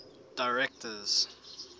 directors